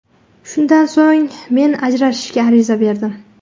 Shundan so‘ng men ajrashishga ariza berdim.